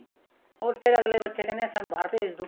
ਹੋਰ ਫੇਰ ਅੱਗਲੇ ਬੱਚੇ ਕਹਿੰਦੇ ਸਾਨੂੰ ਬਾਹਰ ਭੇਜ ਦੋ